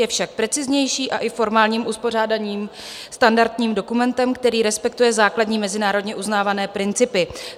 Je však preciznější a i formálním uspořádáním standardním dokumentem, který respektuje základní mezinárodně uznávané principy.